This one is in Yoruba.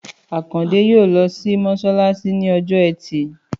Àkàndé yóò lọ sí mọṣalaṣi ní ọjọ́ ẹtì